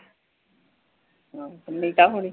ਨੀਤਾ ਹੋਣੀ